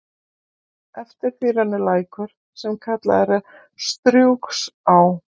Eftir því rennur lækur, sem kallaður er Strjúgsá.